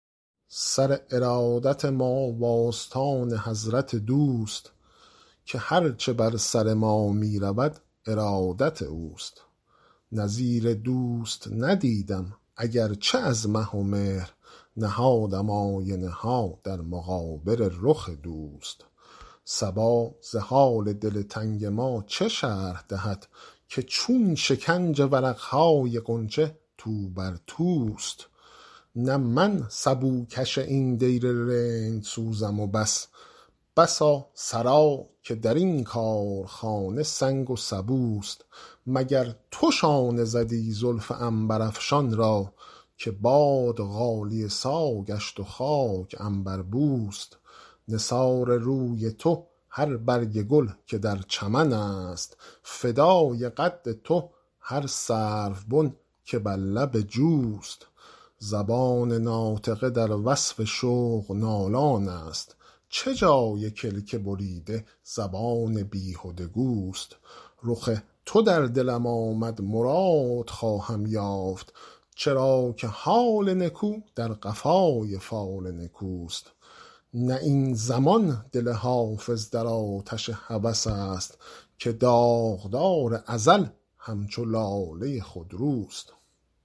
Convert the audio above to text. سر ارادت ما و آستان حضرت دوست که هر چه بر سر ما می رود ارادت اوست نظیر دوست ندیدم اگر چه از مه و مهر نهادم آینه ها در مقابل رخ دوست صبا ز حال دل تنگ ما چه شرح دهد که چون شکنج ورق های غنچه تو بر توست نه من سبوکش این دیر رندسوزم و بس بسا سرا که در این کارخانه سنگ و سبوست مگر تو شانه زدی زلف عنبرافشان را که باد غالیه سا گشت و خاک عنبربوست نثار روی تو هر برگ گل که در چمن است فدای قد تو هر سروبن که بر لب جوست زبان ناطقه در وصف شوق نالان است چه جای کلک بریده زبان بیهده گوست رخ تو در دلم آمد مراد خواهم یافت چرا که حال نکو در قفای فال نکوست نه این زمان دل حافظ در آتش هوس است که داغدار ازل همچو لاله خودروست